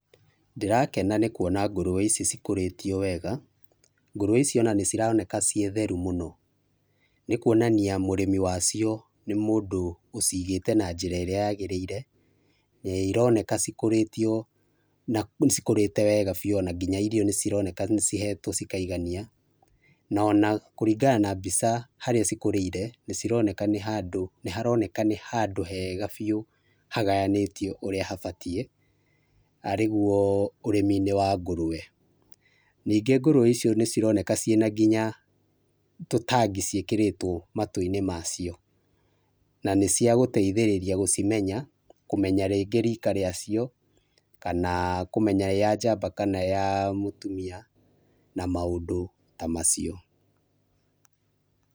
Ndĩrakena nĩ kuona ngũrwe ici cikũrĩtio wega, ngũrwe ici nĩcironeka ciĩ theru mũno. Nĩ kwonania mũrĩmi wacio nĩ mũndũ ũcigĩte na njĩra ĩrĩa yagĩrĩire na ironeka cikũrete wega biũ ona nginya irio nĩ cironeka cihetwo cikaigania, na ona kũringana na mbica harĩa cikũrĩire nĩ cironeka, nĩ haroneka nĩ handũ hega biũ, hagayanĩtio ũrĩa habatie, arĩguo ũrĩmi-inĩ wa ngũrwe. Ningĩ ngũrwe icio ni cironekana ciĩ na nginya tũ tag ciĩkĩrĩtwo matũinĩ macio. Na cia gũteithĩrĩria gũcimenya, kũmenya rĩngĩ rika rĩa cio, kana kũmenya ĩ ya njamba kana ĩ ya ya mũtumia, na maũndũ ta macio.